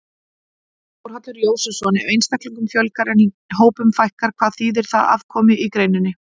Þórhallur Jósefsson: Ef einstaklingum fjölgar en hópum fækkar, hvað þýðir það fyrir afkomu í greininni?